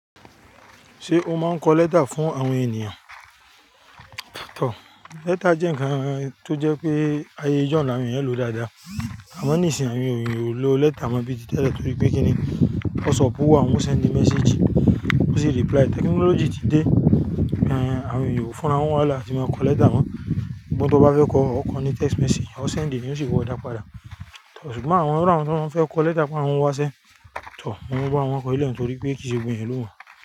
Ṣé o máa ń kọ lẹ́tà fún àwọn ènìyàn? Tọ, lẹ́tà jẹ́ ǹkan tó jẹ́ pé ayẹ jọ̀ làwọn èyàn lò dáadáa. Àmọ́ níìsín àwọn èyàn ò lo lẹ́tà mọ bí ti tẹ́lẹ̀ torí pé kíni WhatsApp wà wọn ó send message, wọ́n sì reply. Technology ti dé, àwọn èyàn ò fọ́nra wọn wá lọ láti máa kọ lẹ́tà mọ́. Òun tó bá fẹ́ kọ, ó kọ ní text message, ó send, e, ní ó sì wọọ dápadà. Ṣùgbọ́n àwọn iwù àwọn tó fẹ́ kọ lẹ́tà fún àwọn wá sẹ́, tọ, wọ́n máa bá wọn kọ ilẹ̀ wọn torí pé kìí ṣe gbogbo èyàn ló mọ̀